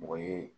Mɔgɔ ye